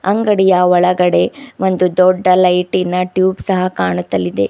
ಅಂಗಡಿಯ ಒಳಗಡೆ ಒಂದು ದೊಡ್ಡ ಲೈಟಿನ ಟ್ಯೂಬ್ ಸಹ ಕಾಣುತ್ತಲಿದೆ.